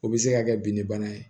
O bɛ se ka kɛ binni bana ye